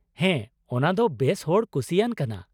ᱦᱮᱸ ,ᱚᱱᱟ ᱫᱚ ᱵᱮᱥ ᱦᱚᱲ ᱠᱩᱥᱤᱭᱟᱱ ᱠᱟᱱᱟ ᱾